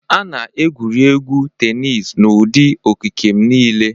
A na-egwuri egwu tenis n'ụdị okike m niile.